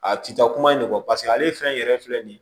A ti taa kuma in de kɔ paseke ale fɛn yɛrɛ filɛ nin ye